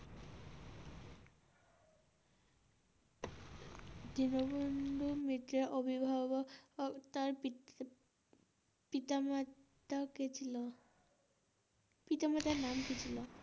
দীনবন্ধু মিত্রের অভিভাবক তার পিতা মাতার নাম কী ছিল?